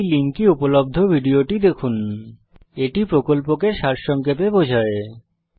এই লিঙ্কে উপলব্ধ ভিডিওটি দেখুন httpspokentutorialorgWhat is a Spoken Tutorial এটি প্রকল্পকে সারসংক্ষেপে বোঝায়